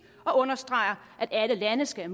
og understreger at alle lande skal